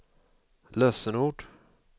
lösenord